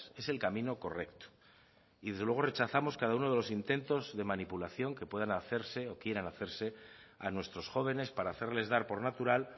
es el camino correcto y desde luego rechazamos cada uno de los intentos de manipulación que puedan hacerse o quieran hacerse a nuestros jóvenes para hacerles dar por natural